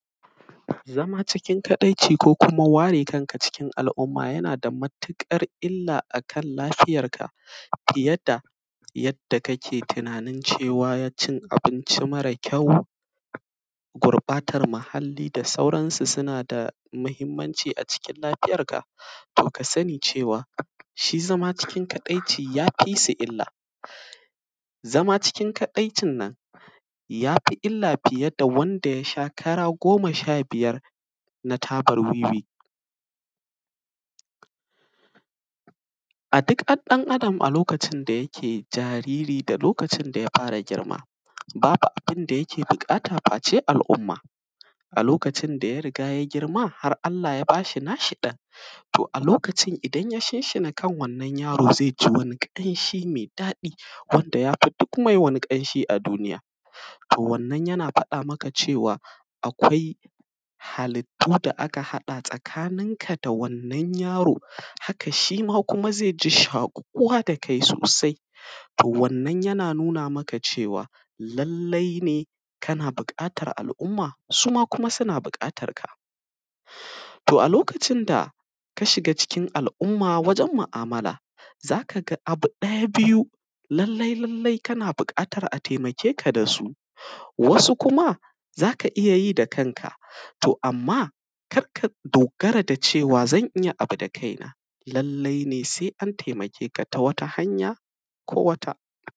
Zama cikin kaɗaici ko kuma ware kanka cikin al’uma, yana da mutuƙar illa a kal lafiyarka fiye da yaddakake tinanin cewa y; cin abinci mara kyau, gurƃatar muhalli da sauran su suna da mahimmanci a cikin lafiyarka. To, ka sani cewa, shi zama cikin kaɗaici ya fi su illa. Zama cikin kaɗaicin nan, ya fi zama illa fiye da wanda ya sha kara goma sha biyar na tabar wiwi. A dik an; ɗan adam a lokacin da yake jariri da lokacin da ya fara girma, babu abin da yake biƙata face al’umma. A lokacin da ya riga ya girma, har Allah ya ba shi nashi ɗan, to a lokacin idan ya shinshina kan wannan yaro ze ji wani ƙanshi me daɗi wanda ya fi dik mai wani ƙanshi a duniya. To, wannan yana faɗa maka cewa, akwai halittu da aka haɗa tsakaninka da wannan yaro. Haka, shi ma kuma ze ji shaƙuwa da kai sosai, to wannan yana nuna maka cewa lallai ne kana biƙatar al’umma, su ma kuma suna buƙatar ka. To, a lokacin da ka shiga cikin al’umma wajen ma’amala, za ka ga abu ɗaya, biyu, lallai-lallai kana biƙatar a temake ka da su. Wasu kuma, za aka iya yi da kanka, to amma kar ka dogara da cewa zan iya abu da kaina, lallai ne se an temake ka ta wata hanya ko wata.